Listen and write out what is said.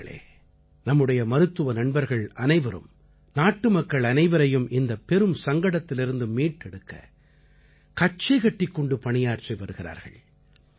நண்பர்களே நம்முடைய மருத்துவ நண்பர்கள் அனைவரும் நாட்டுமக்கள் அனைவரையும் இந்தப் பெரும் சங்கடத்திலிருந்து மீட்டெடுக்க கச்சைகட்டிக் கொண்டு பணியாற்றி வருகிறார்கள்